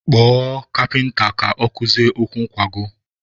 Kpọọ kapịnta ka ọ kụzie ụkwụ nkwago!